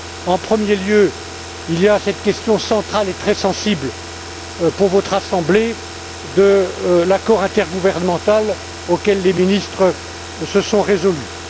En premier lieu, il y a cette question centrale et très sensible pour votre assemblée de l'accord intergouvernemental auquel les ministres se sont résolus.